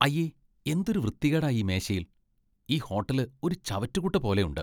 അയ്യേ ! എന്തൊരു വൃത്തികേടാ ഈ മേശയിൽ , ഈ ഹോട്ടല് ഒരു ചവറ്റുകുട്ട പോലെ ഉണ്ട്!